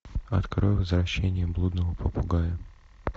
открой возвращение блудного попугая